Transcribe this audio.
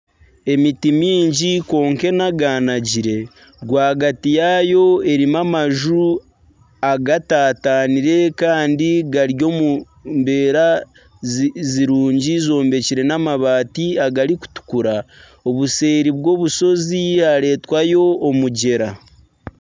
Emiti mingi kwonka enaganagire rwagati yaayo erimu amaju agatatanire kandi gari omu mbeera zirungi ezombekire n'amabati agarikutukura obuseeri bw'omushozi hareetwayo omugyera